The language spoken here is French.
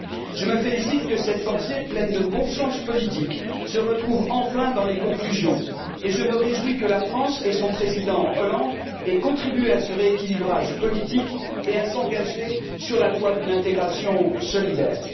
Je me félicite que cette pensée pleine de bon sens politique se retrouve enfin dans les conclusions et je me réjouis que la France et son Président Hollande ait contribué à ce rééquilibrage politique et à s'engager sur la voie d'une intégration solidaire.